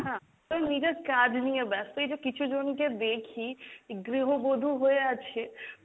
হ্যাঁ তোর নিজের কাজ নিয়ে ব্যাস্ত, এইযে কিছুজনকে দেখি গৃহবধূ হয়ে আছে,